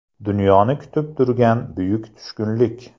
Dunyoni kutib turgan buyuk tushkunlik.